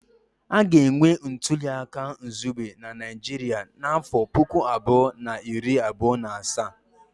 A ga-enwe ntuli aka izugbe na Naịjirịa n'afọ puku abụọ na iri abụọ na asaa